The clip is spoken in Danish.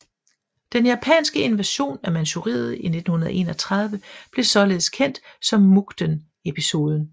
Den japanske invasion af Manchuriet i 1931 blev således kendt som Mukden Episoden